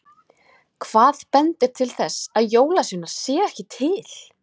Hvað bendir til þess að jólasveinar séu ekki til?